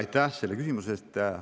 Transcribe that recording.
Aitäh selle küsimuse eest!